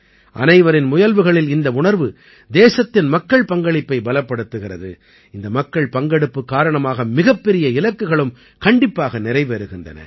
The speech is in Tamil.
அனைவரின் முயல்வுகளில் இந்த உணர்வு தேசத்தின் மக்கள் பங்களிப்பை பலப்படுத்துகிறது இந்த மக்கள் பங்கெடுப்பு காரணமாக மிகப்பெரிய இலக்குகளும் கண்டிப்பாக நிறைவேறுகின்றன